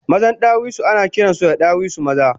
Mazan ɗawisu anakiransu da ɗawisu maza